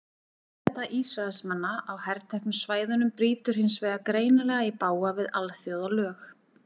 Herseta Ísraelsmanna á herteknu svæðunum brýtur hins vegar greinilega í bága við alþjóðalög.